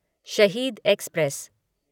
शहीद एक्सप्रेस